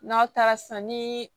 N'aw taara sisan ni